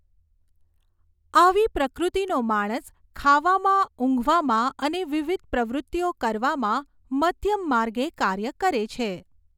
આવી પ્રકૃતિનો માણસ ખાવામાં ઉંઘવામાં અને વિવિધ પ્રવૃત્તિઓ કરવામાં મધ્યમ માર્ગે કાર્ય કરે છે.